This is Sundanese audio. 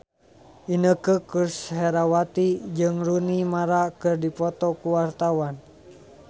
Inneke Koesherawati jeung Rooney Mara keur dipoto ku wartawan